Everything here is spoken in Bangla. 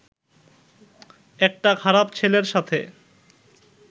একটা খারাপ ছেলের সাথে